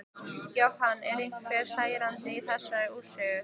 Jóhann: Eru einhver særindi í þessari úrsögn?